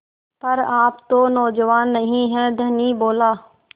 पर आप तो नौजवान नहीं हैं धनी बोला